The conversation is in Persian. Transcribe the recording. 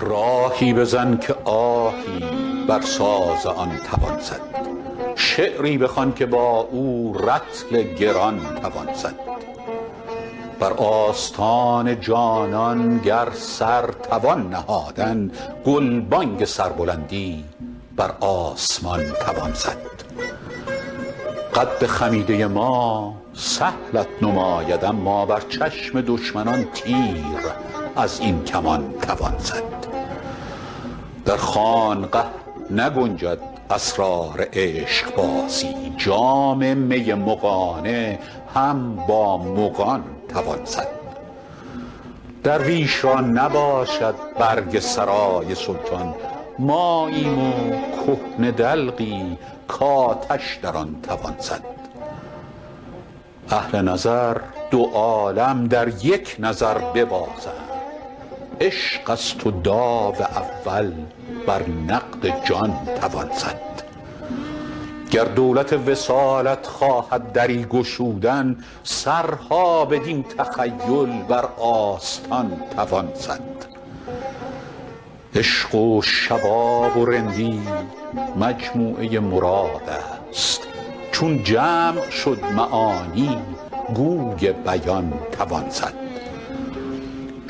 راهی بزن که آهی بر ساز آن توان زد شعری بخوان که با او رطل گران توان زد بر آستان جانان گر سر توان نهادن گلبانگ سربلندی بر آسمان توان زد قد خمیده ما سهلت نماید اما بر چشم دشمنان تیر از این کمان توان زد در خانقه نگنجد اسرار عشقبازی جام می مغانه هم با مغان توان زد درویش را نباشد برگ سرای سلطان ماییم و کهنه دلقی کآتش در آن توان زد اهل نظر دو عالم در یک نظر ببازند عشق است و داو اول بر نقد جان توان زد گر دولت وصالت خواهد دری گشودن سرها بدین تخیل بر آستان توان زد عشق و شباب و رندی مجموعه مراد است چون جمع شد معانی گوی بیان توان زد